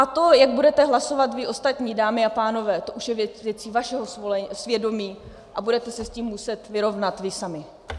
A to, jak budete hlasovat vy ostatní, dámy a pánové, to už je věcí vašeho svědomí a budete se s tím muset vyrovnat vy sami.